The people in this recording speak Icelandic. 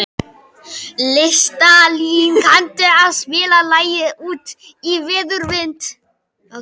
Listalín, kanntu að spila lagið „Út í veður og vind“?